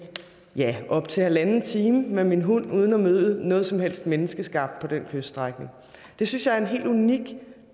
ja op til halvanden time med min hund uden at møde noget som helst menneskeskabt på den kyststrækning det synes jeg er en helt unik